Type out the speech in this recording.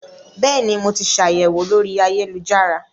Bẹ́ẹ̀ ni, mo ti ṣàyẹ̀wò lórí ayélujára